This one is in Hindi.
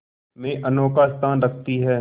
में अनोखा स्थान रखती है